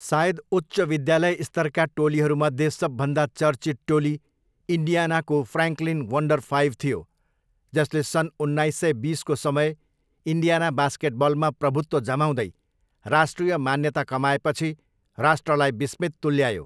सायद उच्च विद्यालय स्तरका टोलीहरूमध्ये सबभन्दा चर्चित टोली इन्डियानाको फ्र्याङ्कलिन वन्डर फाइभ थियो, जसले सन् उन्नाइस सय बिसको समय इन्डियाना बास्केटबलमा प्रभुत्व जमाउँदै राष्ट्रिय मान्यता कमाएपछि राष्ट्रलाई विस्मित तुल्यायो।